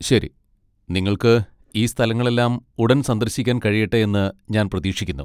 ശരി, നിങ്ങൾക്ക് ഈ സ്ഥലങ്ങളെല്ലാം ഉടൻ സന്ദർശിക്കാൻ കഴിയട്ടെ എന്ന് ഞാൻ പ്രതീക്ഷിക്കുന്നു.